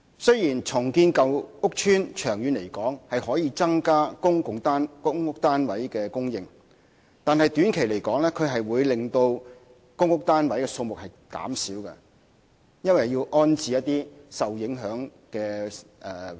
雖然長遠而言，重建舊屋邨可以增加公屋單位的供應，但短期而言會令公屋單位數目減少，原因是要安置一些受影響的租戶。